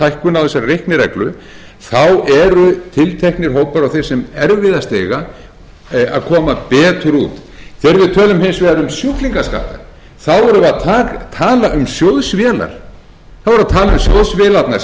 hækkun á þessari reiknireglu eru tilteknir hópar og þeir sem erfiðast eiga að koma betur út þegar við tölum hins vegar um sjúklingaskatta erum við að tala um sjóðsvélarnar sem